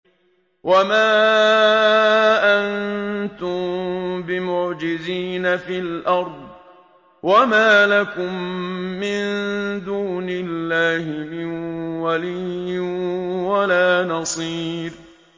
وَمَا أَنتُم بِمُعْجِزِينَ فِي الْأَرْضِ ۖ وَمَا لَكُم مِّن دُونِ اللَّهِ مِن وَلِيٍّ وَلَا نَصِيرٍ